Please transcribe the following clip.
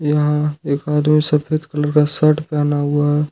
यहां एक आदमी सफेद कलर का शर्ट पहना हुआ है।